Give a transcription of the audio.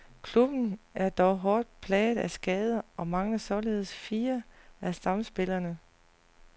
Klubben er dog hårdt plaget af skader, og mangler således fire af stamspillerne.